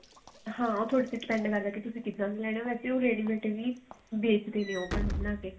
ਹਾਂ ਉਹ ਥੋਡੇ ਤੇ depend ਕਰਦਾ ਤੁਸੀਂ ਕਿੱਦਾਂ ਦਾ ਲੈਣਾ ਵੇਸੇ ਉਹ ready mate ਵੀ ਵੇਚਦੇ ਨੇ ਉਹ ਬਣਾ ਬਣਾ ਕੇ